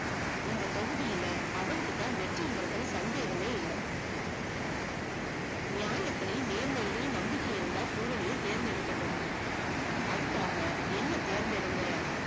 இந்த தொகிதியில அவனுக்குதான் வெற்றிங்கரதுல சந்தேகமே இல்ல. நியாத்திளையும் நேர்மையுளும் நம்பிக்கை இருந்த பூரணிய தேர்ந்தெடுக்கட்டும், அதுக்காக என்ன தேர்ந்தேடுங்க